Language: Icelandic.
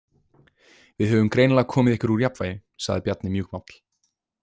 Við höfum greinilega komið ykkur úr jafnvægi, sagði Bjarni mjúkmáll.